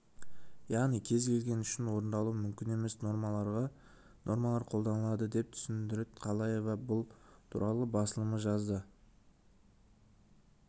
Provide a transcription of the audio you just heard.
яғни кез келген үшін орындалуы мүмкін емес нормаларға нормалар қолданылды деп түсіндірді калеева бұл туралы басылымы жазды